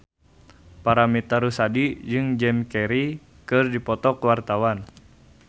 Paramitha Rusady jeung Jim Carey keur dipoto ku wartawan